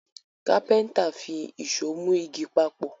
kápẹ́ńtà fí Èṣó mú ìgi papọ